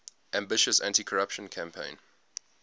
ambitious anticorruption campaign